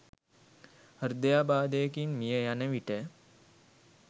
හෘදයාබාධයකින් මිය යන විට